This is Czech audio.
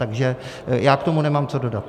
Takže já k tomu nemám co dodat.